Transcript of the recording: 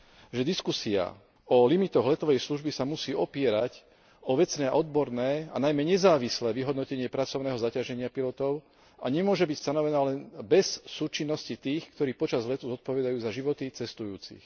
že diskusia o limitoch letovej služby sa musí opierať o vecné a odborné, a najmä nezávislé vyhodnotenie pracovného zaťaženia pilotov a nemôže byť stanovená len bez súčinnosti tých, ktorí počas letu zodpovedajú za životy cestujúcich.